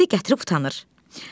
İndi gətirib utanır.